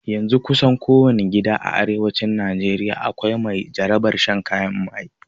Yanzun kusan ko wani gida a arewacin najeriya akwai mai jarabar shan kayan maye